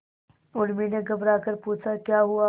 उर्मी ने घबराकर पूछा क्या हुआ